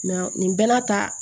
nin bɛɛ n'a ta